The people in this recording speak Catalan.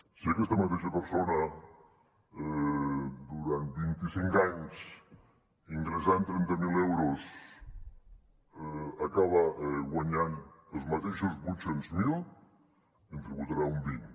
si aquesta mateixa persona durant vint icinc anys ingressant trenta miler euros acaba guanyant els mateixos vuit cents miler ne tributarà un vint